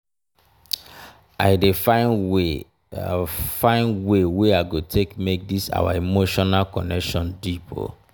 i dey find way find way wey i go take make dis our emotional connection deep.